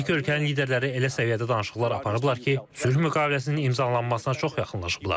Hər iki ölkənin liderləri elə səviyyədə danışıqlar aparıblar ki, sülh müqaviləsinin imzalanmasına çox yaxınlaşıblar.